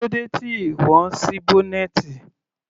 Kílódé tí ìwọ ń sí bọ́nẹ́ẹ́tì?